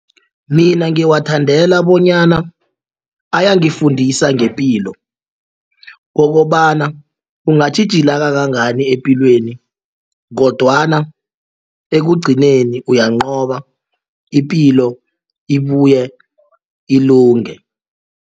Mina ngiwathandela bonyana ayangifundisa ngepilo okobana ungatjhijila kangangani epilweni kodwana ekugcineni uyanqoba ipilo ibuye ilunge.